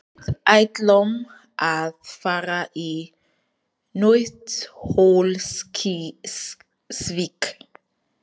Við ætlum að fara í Nauthólsvík.